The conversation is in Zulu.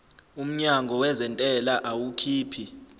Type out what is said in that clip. umnyango wezentela awukhiphi